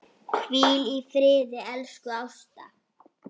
Hvíl í friði, elsku Ásta.